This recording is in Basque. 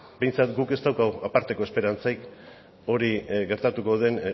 behintzat guk ez daukagu aparteko esperantzarik hori gertatuko den